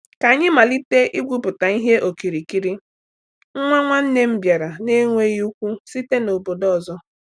Ka anyị malitere igwupụta ihe okirikiri, nwa nwanne m bịara na-enweghị ikwu site n’obodo ọzọ.